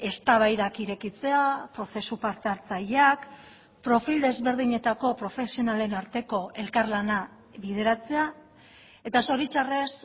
eztabaidak irekitzea prozesu parte hartzaileak profil ezberdinetako profesionalen arteko elkarlana bideratzea eta zoritxarrez